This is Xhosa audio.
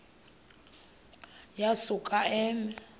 uya kusuka eme